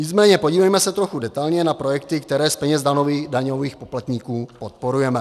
Nicméně podívejme se trochu detailně na projekty, které z peněz daňových poplatníků podporujeme.